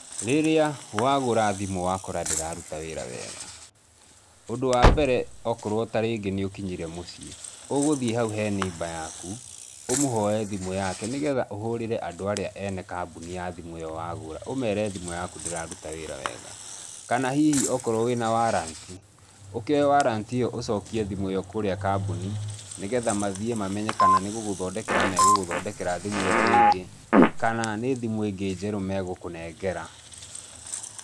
Rĩrĩa wagũra thimũ wakora ndĩraruta wĩra wega, ũndũ wa mbere okorwo ta rĩngĩ nĩ ũkinyire mũciĩ, ũgũthiĩ hau he neighbour yaku, ũmũhoe thimũ yake nĩgetha ũhũrĩre andũ arĩa ene kambuni ya thimũ iyo wagũra ũmere thimũ yaku ndĩraruta wĩra wega, kana hihi okorwo wĩna warrant, ũkĩoe warrant iyo ũcokie thimũ iyo kũrĩa kambuni, nĩgetha mathie mamenye kana nĩgũgũthondekera magũgũthondekere thimũ iyo rĩngĩ kana nĩ thimũ ĩngĩ njerũ magũkũnengera.